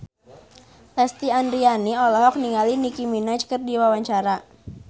Lesti Andryani olohok ningali Nicky Minaj keur diwawancara